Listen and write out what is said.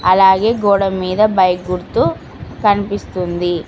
అలాగే గోడ మీద బైక్ గుర్తు కనిపిస్తుంది.